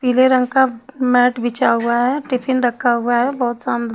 पीले रंग का मैट बिछा हुआ है टिफिन रखा हुआ है बहोत साम--